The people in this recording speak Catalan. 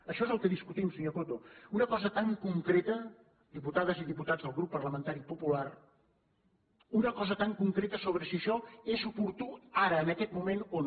això és el que discutim senyor coto una cosa tan concreta diputades i diputats del grup parlamentari popular una cosa tan concreta sobre si això és oportú ara en aquest moment o no